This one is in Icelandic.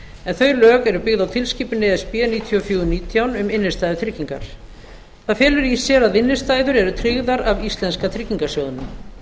en þau lög eru byggð á tilskipun níutíu og fjögur nítján e b e um innstæðutryggingar það felur í sér að innstæður eru tryggðar af íslenska tryggingasjóðnum